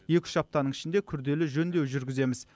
екі үш аптаның ішінде күрделі жөндеу жүргіземіз